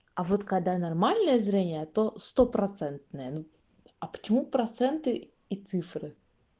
а вот когда нормальное зрение то стопроцентное а почему проценты и цифры